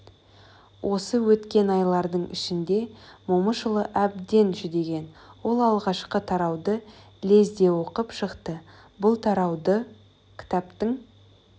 осы өткен айлардың ішінде момышұлы әбден жүдеген ол алғашқы тарауды лезде оқып шықты бұл тарауда кітаптың